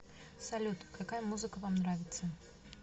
салют какая музыка вам нравится